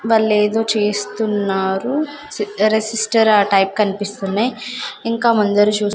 వాళ్లేదో చేస్తున్నారు రెసిస్టర్ ఆ టైప్ కనిపిస్తున్నయ్ ఇంకా ముందర చూస్--